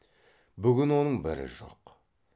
бүгін оның бірі жоқ